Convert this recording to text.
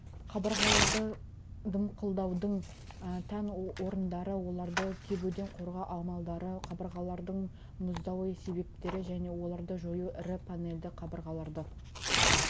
қабырғаларды дымқылдаудың тән орындары оларды кебуден қорғау амалдары қабырғалардың мұздауы себептері және оларды жою ірі панельді қабырғаларды